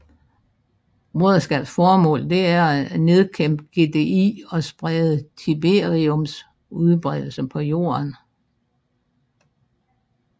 Broderskabets formål er at nedkæmpe GDI og sprede tiberiums udbredelse på jorden